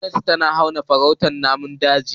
Gomnati tana hana farautar namun daji.